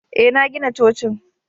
Ee, na gina cocin